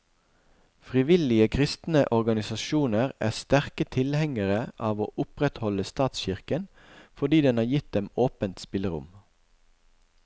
Frivillige kristne organisasjoner er sterke tilhengere av å opprettholde statskirken, fordi den har gitt dem åpent spillerom.